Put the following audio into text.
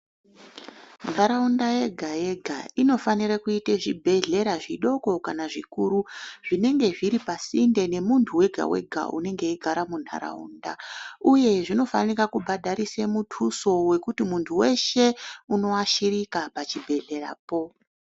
Ntaraunda yega yega inofanira kuita chibhedhlera zvidoko kana zvikuru zvinenge zviri pasinde nemuntu wega wega anogara muntaraunda uye zvinofanirwa kubhadharisa muthuso wekuti muntu weshe unofanira kuashirika pachibhedhlerapo.